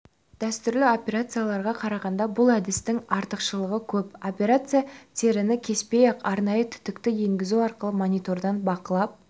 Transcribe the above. дәстүрлі операцияларға қарағанда бұл әдістің артықшылығы көп операция теріні кеспей-ақ арнайы түтікті енгізу арқылы монитордан бақыланып